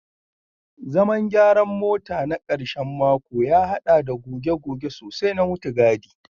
Zaman gyaran mota na karshen mako ya haɗa da goge-goge sosai na mutugadi